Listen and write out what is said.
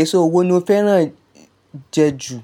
Èso wo ni o fẹ́ràn jẹ ju?